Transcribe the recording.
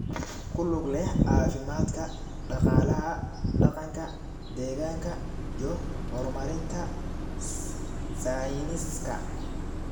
ku lug leh caafimaadka, dhaqaalaha, dhaqanka, deegaanka, iyo horumarinta sayniska.